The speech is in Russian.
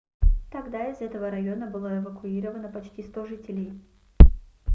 тогда из этого района было эвакуировано почти 100 жителей